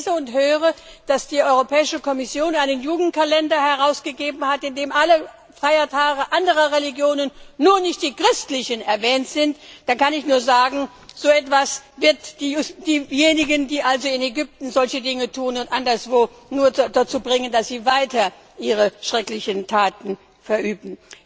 Wenn ich lese und höre, dass die Europäische Kommission einen Jugendkalender herausgegeben hat, in dem alle Feiertage anderer Religionen, aber nicht die christlichen erwähnt sind, dann kann ich nur sagen So etwas wird diejenigen, die in Ägypten und anderswo solche Dinge tun, nur noch ermutigen, dass sie weiter ihre schrecklichen Taten verüben.